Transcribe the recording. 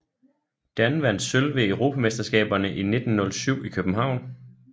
Dan vandt sølv ved Europamesterskaberne i 1907 i København